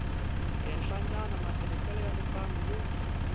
henhlanyana matirhiselo ya mimbangu yo